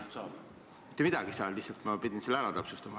Ma lihtsalt pidin selle ära täpsustama.